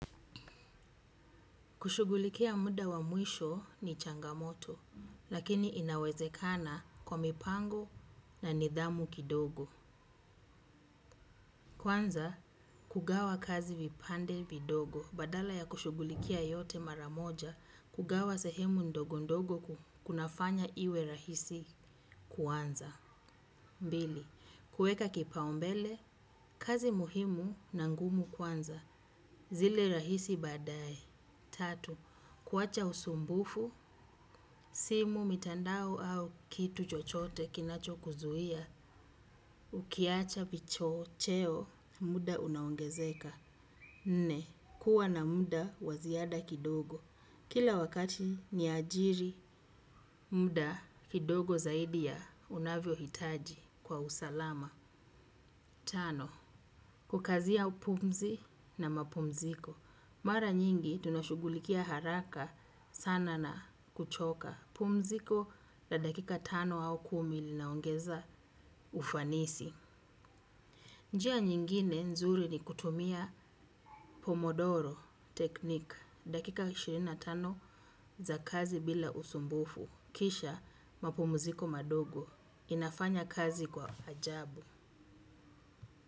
Kushugulikia muda wa mwisho ni changamoto, lakini inawezekana kwa mipango na nidhamu kidogo. Kwanza, kugawa kazi vipande vidogo. Badala ya kushugulikia yote maramoja, kugawa sehemu ndogo ndogo kunafanya iwe rahisi kuanza. Mbili, kueka kipao mbele, kazi muhimu na ngumu kwanza. Zile rahisi badaye. Tatu, kuwacha usumbufu, simu mitandao au kitu chochote kinacho kuzuhia, ukiacha vicho cheo, muda unaongezeka. Nne, kuwa na muda waziada kidogo. Kila wakati ni ajiri, muda kidogo zaidi ya unavyo hitaji kwa usalama. Tano. Kukazia pumzi na mapumziko. Mara nyingi tunashugulikia haraka sana na kuchoka. Pumziko ya dakika tano au kumi linaongeza ufanisi. Njia nyingine nzuri ni kutumia pomodoro teknik. Dakika ishirini na tano za kazi bila usumbufu. Kisha mapumziko madogo. Inafanya kazi kwa ajabu.